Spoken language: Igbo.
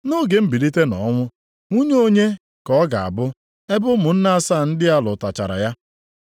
Nʼoge mbilite nʼọnwụ, nwunye onye ka ọ ga-abụ, ebe ụmụnne asaa ndị a lụtụchara ya?”